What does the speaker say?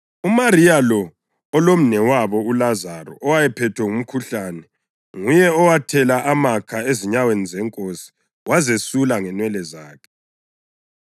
(UMariya lo olomnewabo uLazaro owayephethwe ngumkhuhlane nguye owathela amakha ezinyaweni zeNkosi wazesula ngenwele zakhe.)